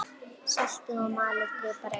Saltið og malið pipar yfir.